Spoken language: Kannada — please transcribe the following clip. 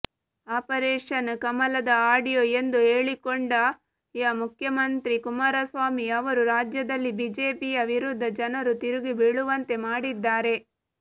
ಆಪರೇಷನ್ ಕಮಲದ ಆಡಿಯೋ ಎಂದು ಹೇಳಿಕೊಂಡ ಯ ಮುಖ್ಯಮಂತ್ರಿ ಕುಮಾರಸ್ವಾಮಿ ಅವರು ರಾಜ್ಯದಲ್ಲಿ ಬಿಜೆಪಿಯ ವಿರುದ್ಧ ಜನರು ತಿರುಗಿಬೀಳುವಂತೆ ಮಾಡಿದ್ದಾರೆ